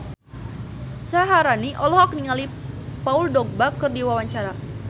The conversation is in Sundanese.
Syaharani olohok ningali Paul Dogba keur diwawancara